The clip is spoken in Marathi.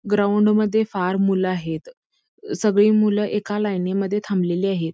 ग्राउंड मध्ये फार मूल आहेत सगळी मूल एका लाईनी मध्ये थांबलेली आहेत.